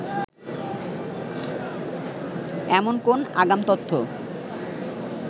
এমন কোন আগাম তথ্য